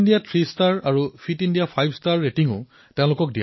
fit India three star আৰু fit India five ষ্টাৰো প্ৰদান কৰা হব